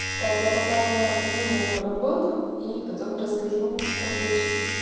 как я попал на новую работу и потом расскажу отвечу